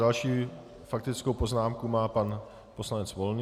Další faktickou poznámku má pan poslanec Volný.